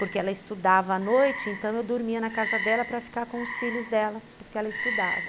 Porque ela estudava à noite, então eu dormia na casa dela para ficar com os filhos dela, porque ela estudava.